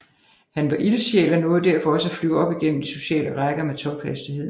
Han var ildsjæl og nåede derfor også at flyve op igennem de sociale rækker med tophastighed